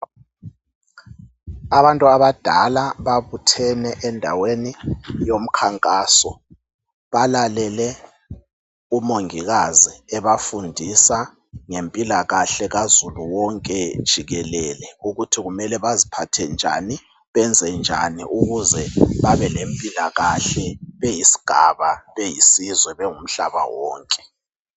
Abantu abadala babuthene endaweni yomkhankaso balalele umongikazi ebafundisa ngempilakahle kazulu wonke jikelele ukuthi kumele baziphathe njani benzenjani ukuze babe lempilakahle beyisigaba, beyisizwe bengumhlaba wonke.